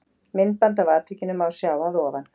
Myndband af atvikinu má sjá að ofan.